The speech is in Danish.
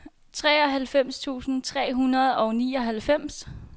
treoghalvfems tusind tre hundrede og nioghalvfems